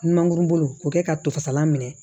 Mangoro bolo k'o kɛ ka tofasalan minɛ